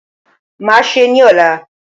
Màá se ní òla